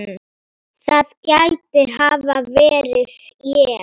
það gæti hafa verið ég